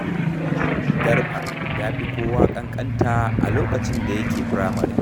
Garba ya fi kowa ƙanƙanta a lokacin da yake firamare.